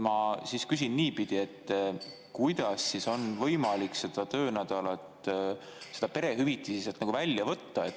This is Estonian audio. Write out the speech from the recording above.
Ma küsin niipidi, et kuidas on võimalik perehüvitiste sealt nagu välja võtta.